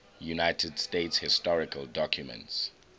united states historical documents